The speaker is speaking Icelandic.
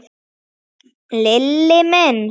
Lilli minn.